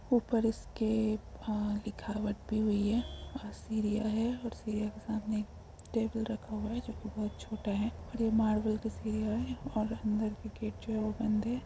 ऊपर इसके अ लिखावट की हुई है और सीढ़ियां है और सीढ़ियां के सामने एक टेबल रखा हुआ है जो की बहुत छोटा है और यह मार्बल की सीढ़ियां है और अंदर की गेट जो है बंद है ।